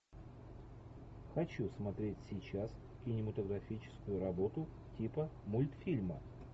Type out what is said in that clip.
хочу смотреть сейчас кинематографическую работу типа мультфильма